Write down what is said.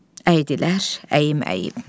Əydilər əyim-əyim.